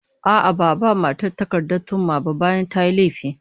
A'a, ba'a ba matar takardar thumma ba bayan tayi laifi